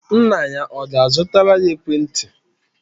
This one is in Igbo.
Nna ya ọ ga-azụtara ya ekwentị?